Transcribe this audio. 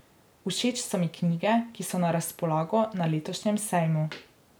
Všeč so mi knjige, ki so na razpolago na letošnjem sejmu.